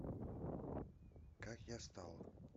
как я стал